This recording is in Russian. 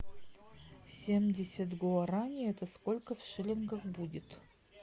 семьдесят гуарани это сколько в шиллингах будет